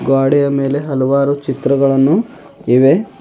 ಗ್ವಾಡೆಯ ಮೇಲೆ ಹಲವಾರು ಚಿತ್ರಗಳನ್ನು ಇವೆ.